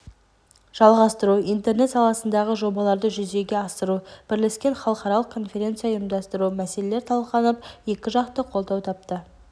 жалғастыру интернет саласындағы жобаларды жүзеге асыру бірлескен халықаралық конференция ұйымдастыру мәселелелер талқыланып екіжақты қолдау тапты